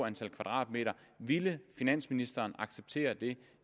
antal kvadratmeter ville finansministeren acceptere det